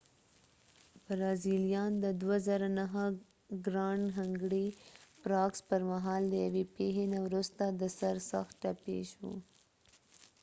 برازیلیان د ۲۰۰۹ ګرانډ هنګري پراکس پرمهال د یوې پیښې نه وروسته د سر سخت ټپي شو